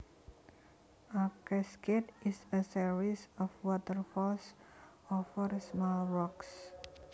A cascade is a series of waterfalls over small rocks